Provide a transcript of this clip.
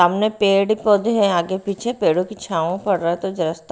सामने पेड़ पौधे हैं आगे पीछे पेड़ों की छाव पड़ रहा है तो जरा--